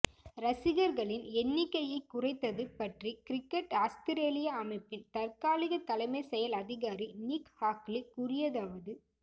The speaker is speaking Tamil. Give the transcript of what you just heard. ரசிகர்களின் எண்ணிக்கையை குறைத்தது பற்றி கிரிக்கெட் ஆஸ்திரேலியா அமைப்பின் தற்காலிக தலைமைச் செயல் அதிகாரி நிக் ஹாக்லி கூறியதாவது